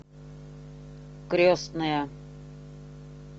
крестная